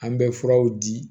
An bɛ furaw di